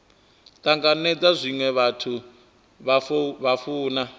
tanganedza zwine vhathu vha funa